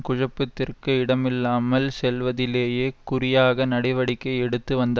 குஜப்பத்திற்கு இடமில்லாமல் செல்வதிலேயே குறியாக நடவடிக்கை எடுத்து வந்தா